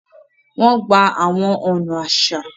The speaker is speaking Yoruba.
Wọn gbà awọn ọna aṣa